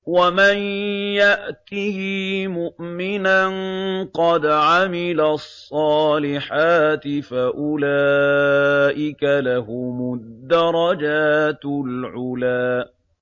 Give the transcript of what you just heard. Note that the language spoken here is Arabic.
وَمَن يَأْتِهِ مُؤْمِنًا قَدْ عَمِلَ الصَّالِحَاتِ فَأُولَٰئِكَ لَهُمُ الدَّرَجَاتُ الْعُلَىٰ